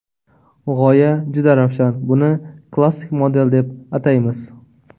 G‘oya juda ravshan, buni klassik model deb ataymiz.